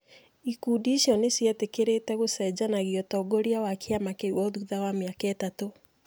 Ikundi icio cierĩ nĩ ciĩtĩkĩrĩĩte gũcenjanagia ũtongoria wa kĩama kĩu o thutha wa mĩaka ĩtatũ.